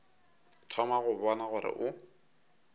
thoma go bona gore o